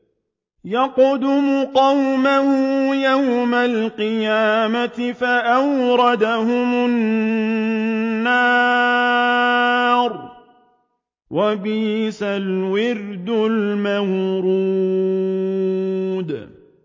يَقْدُمُ قَوْمَهُ يَوْمَ الْقِيَامَةِ فَأَوْرَدَهُمُ النَّارَ ۖ وَبِئْسَ الْوِرْدُ الْمَوْرُودُ